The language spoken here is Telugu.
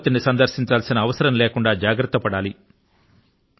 ఆసుపత్రి ని సందర్శించాల్సిన అవసరం లేకుండా జాగ్రత్త పడాలి